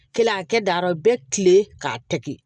Kelen a kɛ daɔrɔ bɛɛ kilenlen k'a kɛ